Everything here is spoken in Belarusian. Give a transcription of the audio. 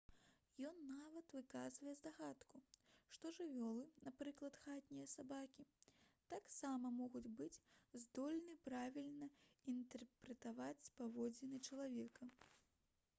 ён нават выказвае здагадку што жывёлы напрыклад хатнія сабакі таксама могуць быць здольны правільна інтэрпрэтаваць паводзіны чалавека